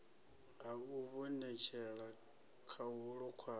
ha u ivhonetshela khahulo kwayo